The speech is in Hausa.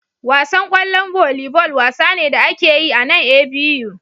Wasan kwallon volleyball wasa ne da ake yi a nan A.B.U